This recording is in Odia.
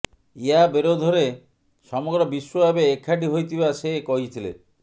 ଏହା ବିରୋଧରେ ସମଗ୍ର ବିଶ୍ୱ ଏବେ ଏକାଠି ହୋଇଥିବା ସେ କହିଥିଲେ